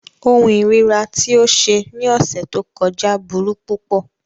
Ohun ìríra ti o ṣe ni ọsẹ to kọja buru pupọ.